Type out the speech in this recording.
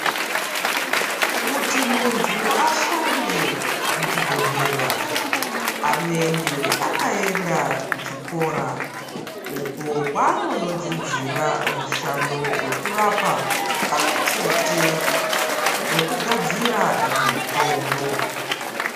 Kuti muntu ashande muchibhedhlera anenge akaenda kuchikora uko kwaanondodzidzira mushando wekurapa pamwe chete nekugadzira mutombo.